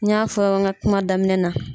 N y'a fɔ n ka kuma daminɛ na